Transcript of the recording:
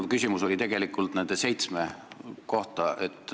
Minu küsimus oli tegelikult nende seitsme saadiku kohta.